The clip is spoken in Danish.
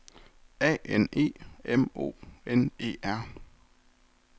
A N E M O N E R